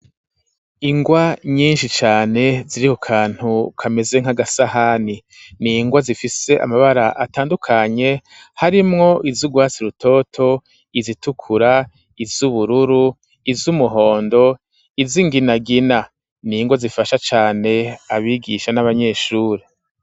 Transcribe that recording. Ingwa nyinshi cane ziri kukantu kameze nk'agasahani n'ingwa zifise amabara atandukanye harimwo, izurwwatsi rutoto, izitukura, izubururu, izumuhondo izinginagina, n'ingwa zifasha cane abigisha n'abanyeshuri.